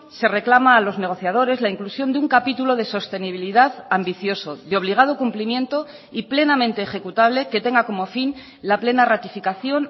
se reclama a los negociadores la inclusión de un capítulo de sostenibilidad ambicioso de obligado cumplimiento y plenamente ejecutable que tenga como fin la plena ratificación